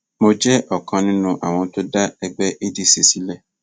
mo jẹ ọkan nínú àwọn tó dá ẹgbẹ adc sílẹ